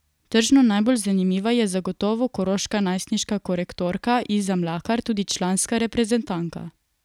Tržno najbolj zanimiva je zagotovo koroška najstniška korektorka Iza Mlakar, tudi članska reprezentantka.